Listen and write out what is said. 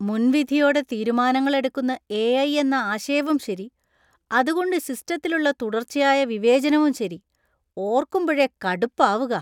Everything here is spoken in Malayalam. മുൻവിധിയോടെ തീരുമാനങ്ങൾ എടുക്കുന്ന എ.ഐ. എന്ന ആശയവും ശരി, അതുകൊണ്ടു സിസ്റ്റത്തിലുള്ള തുടർച്ചയായ വിവേചനവും ശരി, ഓര്‍ക്കുമ്പഴേ കടുപ്പാവുകാ.